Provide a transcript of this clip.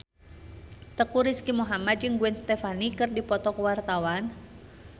Teuku Rizky Muhammad jeung Gwen Stefani keur dipoto ku wartawan